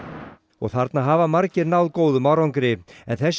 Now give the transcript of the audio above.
og þarna hafa margir náð góðum árangri en þessi